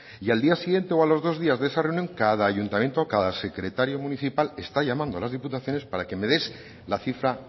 y al día siguiente o a los dos días de esa reunión cada ayuntamiento cada secretario municipal está llamando a las diputaciones para que me des la cifra